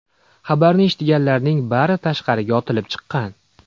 Xabarni eshitganlarning bari tashqariga otilib chiqqan.